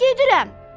Gedirəm!